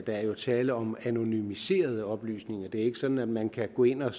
der er tale om anonymiserede oplysninger det er ikke sådan at man kan gå ind og